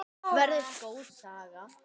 Verður góð saga.